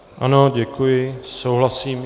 Ano, děkuji, souhlasím.